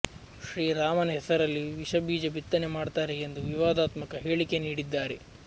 ಶ್ರೀರಾಮನ ಹೆಸರಲ್ಲಿ ವಿಷಬೀಜ ಬಿತ್ತನೆ ಮಾಡ್ತಾರೆ ಎಂದು ವಿವಾದಾತ್ಮಕ ಹೇಳಿಕೆ ನೀಡಿದ್ದಾರೆ